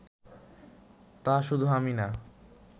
তা শুধু আমি না